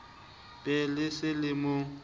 be le se le mo